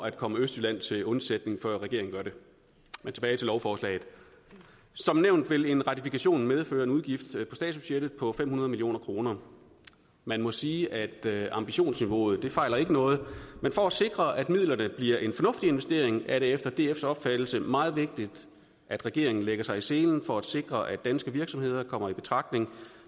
at komme østjylland til undsætning før regeringen gør det men tilbage til lovforslaget som nævnt vil en ratifikation medføre en udgift på statsbudgettet på fem hundrede million kroner man må sige at ambitionsniveauet ikke fejler noget men for at sikre at midlerne bliver en fornuftig investering er det efter dfs opfattelse meget vigtigt at regeringen lægger sig i selen for at sikre at danske virksomheder kommer i betragtning